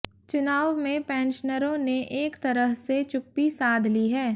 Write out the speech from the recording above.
चुनाव में पेंशनरों ने एक तरह से चुप्पी साध ली है